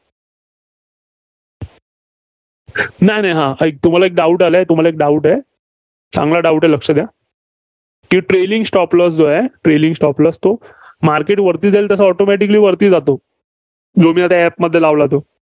नाय, नाय. ऐक तुम्हाला एक doubt आलाय. तुम्हाल एक doubt आहे. चांगला Doubt आहे लक्ष द्या. ते trailing stop loss जो आहे, trailing stop loss तो market वरती जाईल तसा automatically वरती जातो. जो मी आता app मध्ये लावला तो.